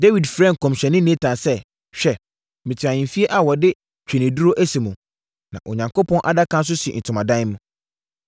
Dawid frɛɛ nkɔmhyɛni Natan sɛ, “Hwɛ, mete ahemfie a wɔde ntweneduro asi mu, na Onyankopɔn Adaka no nso si ntomadan mu.”